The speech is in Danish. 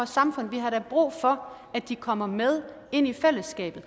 samfund vi har da brug for at de kommer med ind i fællesskabet